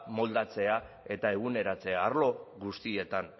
moldatzea eta eguneratzea arlo guztietan